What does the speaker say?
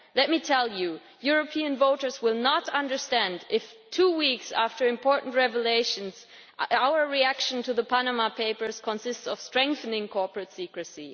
Let me tell you European voters will not understand if two weeks after important revelations we respond to the Panama Papers by strengthening corporate secrecy.